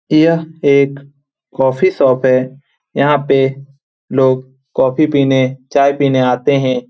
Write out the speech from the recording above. यह एक coffee shop है यहां पे लोग कॉफी पीने चाय पीने आते हैं।